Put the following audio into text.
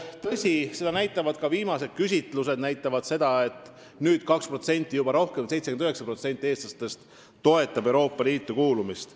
Tõsi, seda näitavad ka viimased küsitlused, et nüüd on neid inimesi juba 2% rohkem – 79% eestlastest toetab Euroopa Liitu kuulumist.